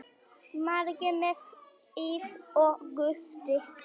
Margir með ís og gosdrykki.